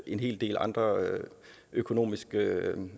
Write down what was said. en hel del andre økonomiske